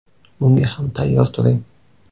Bunga ham tayyor turing.